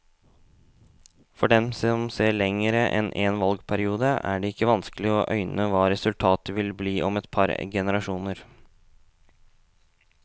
For dem som ser lenger enn en valgperiode, er det ikke vanskelig å øyne hva resultatet vil bli om et par generasjoner.